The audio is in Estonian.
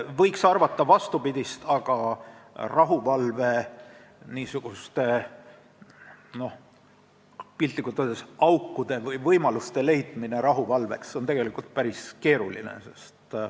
Võiks arvata vastupidist, aga rahuvalveks on piltlikult öeldes aukude või võimaluste leidmine tegelikult päris keeruline.